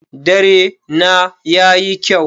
Dare na yayi kyau.